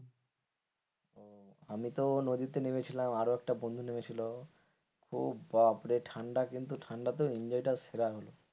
আমিতো নদীতে নেমেছিলাম আরো একটা বন্ধু নেমেছিল ও বাপরে ঠান্ডা কিন্তু ঠান্ডা তো enjoy টা সেরা হল,